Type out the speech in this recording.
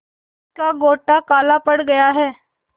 जिसका गोटा काला पड़ गया है